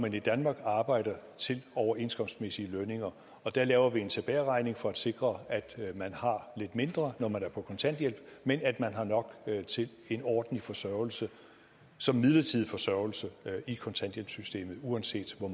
man i danmark arbejder til overenskomstmæssige lønninger og der laver vi en tilbageregning for at sikre at man har lidt mindre når man er på kontanthjælp men at man har nok til en ordentlig forsørgelse som midlertidig forsørgelse i kontanthjælpssystemet uanset hvor